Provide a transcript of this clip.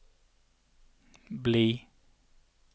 bli